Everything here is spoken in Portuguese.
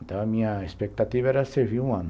Então a minha expectativa era servir um ano.